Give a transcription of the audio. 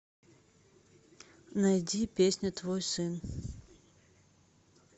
найди песня твой сын